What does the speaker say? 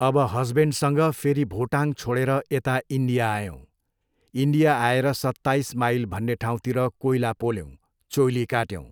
अब हसबेन्डसँग फेरि भोटाङ छोडेर यता इन्डिया आयौँ। इन्डिया आएर सत्ताइस माइल भन्ने ठाउँतिर कोइला पोल्यौँ, चोइली काट्यौँ।